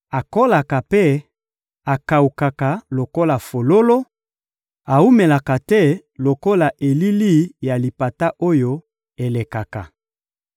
Akolaka mpe akawukaka lokola fololo, awumelaka te lokola elili ya lipata oyo elekaka.